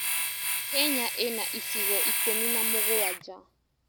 Kenya ĩna icigo ikũmi na mũgwanja.